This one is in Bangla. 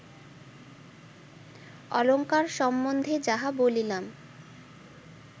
অলঙ্কার সম্বন্ধে যাহা বলিলাম